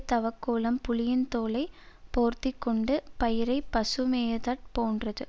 தவக்கோலம் புலியின் தோலை போர்த்தி கொண்டு பயிரை பசு மேயதற் போன்றது